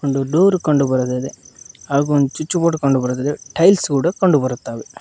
ಒಂದು ಡೋರ್ ಕಂಡು ಬರುತ್ತದೆ ಹಾಗು ಒಂದ್ ಸ್ವಿಚ್ ಬೋರ್ಡ್ ಕಂಡು ಬರುತ್ತದೆ ಟೈಲ್ಸ್ ಕೂಡ ಕಂಡು ಬರುತ್ತಾವೆ.